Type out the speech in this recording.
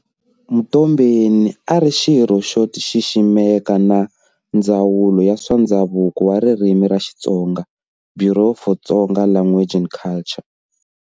Mtombeni a ari xirho xo xiximeka xa ndzawulo ya swa ndzhavuko na ririmi ra Xitsonga, "Bureau for Tsonga Language and Culture".